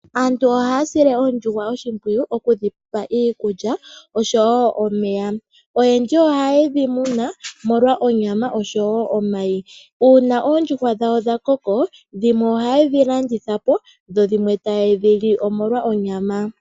Aantu ohaya sile oondjuhwa oshimpwiyu okudhipa iikulya osho woo omeya oyendji ohaye dhi muna omolwa onyama osho woo omayi. Uuna oondjuhwa dhawo dhakoko ohaye dhi landithapo dho dhimwe taye dhili omolwa onyama.